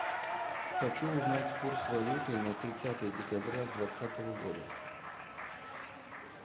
хочу узнать курс валюты на тридцатое декабря двадцатого года